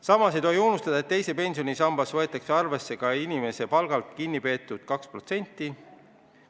Samas ei tohi unustada, et teises pensionisambas võetakse arvesse ka inimese palgalt kinni peetud 2%.